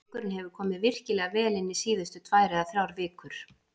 Drengurinn hefur komið virkilega vel inn síðustu tvær eða þrjár vikur.